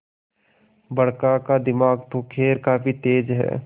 बड़का का दिमाग तो खैर काफी तेज है